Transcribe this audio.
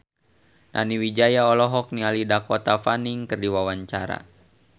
Nani Wijaya olohok ningali Dakota Fanning keur diwawancara